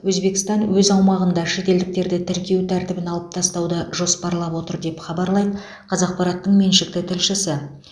өзбекстан өз аумағында шетелдіктерді тіркеу тәртібін алып тастауды жоспарлап отыр деп хабарлайды қазақпараттың меншікті тілшісі